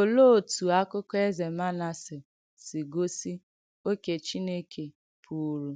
Olèé òtù àkụ́kọ̀ Èzè Manàsè sì gósì ókè́ Chìnèkè pùrù